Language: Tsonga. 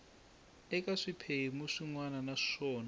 eka swiphemu swin wana naswona